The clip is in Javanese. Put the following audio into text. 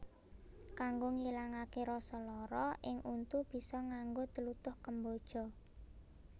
Kanggo ngilangaké rasa lara ing untu bisa nganggo tlutuh kemboja